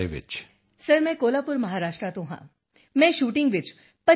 sir ਮੈਂ ਕੋਹਲਾਪੁਰ ਮਹਾਰਾਸ਼ਟਰ ਤੋਂ ਹਾਂ ਮੈਂ ਸ਼ੂਟਿੰਗ ਵਿੱਚ 25 ਐੱਮ